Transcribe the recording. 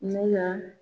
Ne ka